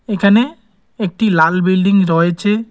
এখানে একটি লাল বিল্ডিং রয়েছে।